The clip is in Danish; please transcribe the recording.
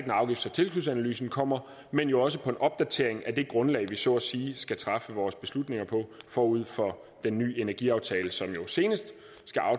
når afgifts og tilskudsanalysen kommer men jo også på en opdatering af det grundlag vi så at sige skal træffe vores beslutninger på forud for den ny energiaftale som jo senest